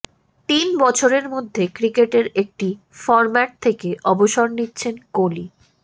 তিন বছরের মধ্যে ক্রিকেটের একটি ফর্ম্যাট থেকে অবসর নিচ্ছেন কোহালি